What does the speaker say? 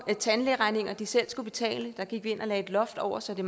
tandlægeregninger de selv skulle betale det gik vi ind og lagde et loft over så det